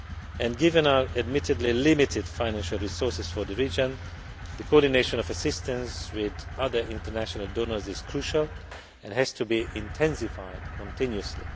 And given our admittedly limited financial resources for the region, the coordination of assistance with other international donors is crucial and has to be intensified continuously.